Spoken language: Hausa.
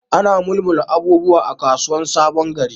Ana mulmula abubuwa a kasuwan sabon gari.